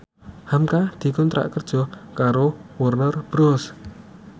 hamka dikontrak kerja karo Warner Bros